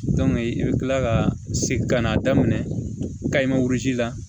i bɛ kila ka segin ka na daminɛ kayi la